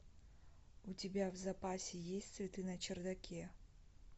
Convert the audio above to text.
у тебя в запасе есть цветы на чердаке